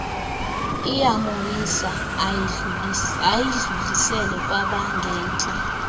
iyamoyisa ayidlulisele kwabangentla